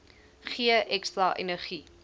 gee ekstra energie